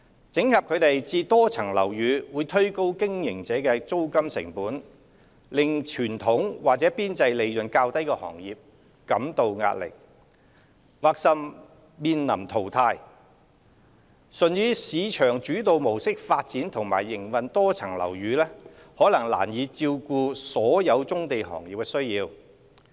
整合它們至多層樓宇會推高經營者的租金成本，令傳統或邊際利潤較低的行業感到壓力，甚或面臨淘汰，純以市場主導模式發展和營運多層樓宇可能難以照顧所有棕地行業的需要。